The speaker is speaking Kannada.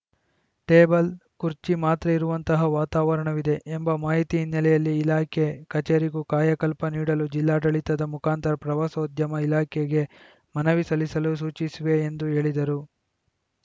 ಟೇಬಲ್‌ ಕುರ್ಚಿ ಮಾತ್ರ ಇರುವಂತಹ ವಾತಾವರಣವಿದೆ ಎಂಬ ಮಾಹಿತಿ ಹಿನ್ನೆಲೆಯಲ್ಲಿ ಇಲಾಖೆ ಕಚೇರಿಗೂ ಕಾಯಕಲ್ಪ ನೀಡಲು ಜಿಲ್ಲಾಡಳಿತದ ಮುಖಾಂತರ ಪ್ರವಾಸೋದ್ಯಮ ಇಲಾಖೆಗೆ ಮನವಿ ಸಲ್ಲಿಸಲು ಸೂಚಿಸುವೆ ಎಂದು ಹೇಳಿದರು